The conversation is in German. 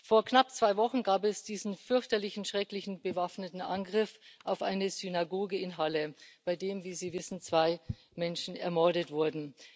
Vor knapp zwei Wochen gab es diesen fürchterlichen, schrecklichen bewaffneten Angriff auf eine Synagoge in Halle, bei dem, wie Sie wissen, zwei Menschen ermordet wurden.